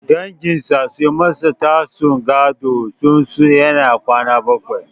Danginsa sun masa tsagun gadonsu tun yana kwana bakwai.